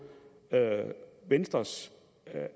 venstres